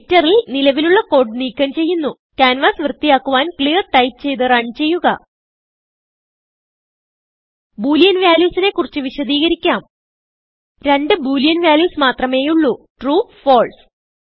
എഡിറ്ററിൽ നിലവിലുള്ള കോഡ് നീക്കം ചെയ്യുന്നു ക്യാൻവാസ് വൃത്തിയാക്കുവാൻclear ടൈപ്പ് ചെയ്ത് runചെയ്യുക ബോളിയൻ valuesനെ കുറിച്ച് വിശദികരിക്കാം രണ്ട് ബോളിയൻ വാല്യൂസ് മാത്രമേയുള്ളൂ ട്രൂ ഫാൽസെ